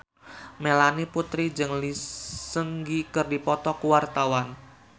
Melanie Putri jeung Lee Seung Gi keur dipoto ku wartawan